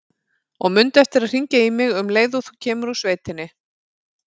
Og mundu eftir að hringja í mig um leið og þú kemur úr sveitinni.